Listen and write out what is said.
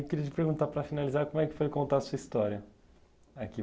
Eu queria te perguntar para finalizar, como é que foi contar a sua história aqui?